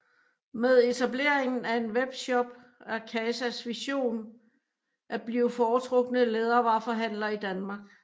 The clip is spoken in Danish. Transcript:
Med etableringen af en webshop er KAZAs vision at blive foretrukne lædervareforhandler i Danmark